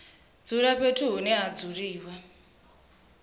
dzula fhethu hune ha dzuliwa